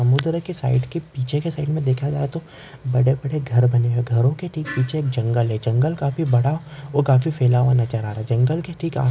समुद्र के साइड के पिछ के साईड मे देखा गया तो बड़े बड़े घर बने हुए है घरो के ठीक जंगल है जंगल काफी बड़ा और काफी फैला हुआ नज़र आ रहा जंगल के ठिक--